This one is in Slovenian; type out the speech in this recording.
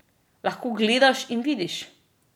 Lahko gledaš in vidiš!